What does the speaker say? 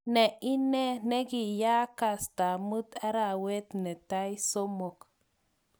Ne ine nekiyaak, kasta mut arawet netai 3.